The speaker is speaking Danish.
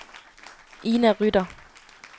Ina Rytter